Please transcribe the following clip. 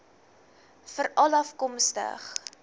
veralafkomstig